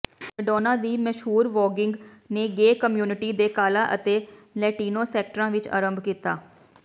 Madonna ਦੀ ਮਸ਼ਹੂਰ voguing ਨੇ ਗੇ ਕਮਿਊਨਿਟੀ ਦੇ ਕਾਲਾ ਅਤੇ ਲੈਟਿਨੋ ਸੈਕਟਰਾਂ ਵਿੱਚ ਅਰੰਭ ਕੀਤਾ